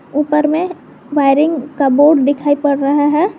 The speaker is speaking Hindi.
ऊपर में वायरिंग का बोर्ड दिखाई पड़ रहा है।